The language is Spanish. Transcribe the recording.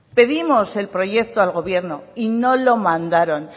pedimos el proyecto al gobierno y no lo mandaron